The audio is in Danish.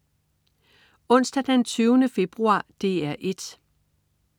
Onsdag den 20. februar - DR 1: